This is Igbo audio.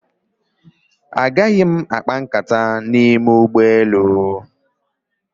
Agaghị m akpa nkata n'ime ụgbọelu.